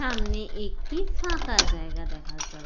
সামনে একটি-ই ফাঁকা জায়গা দেখা যা --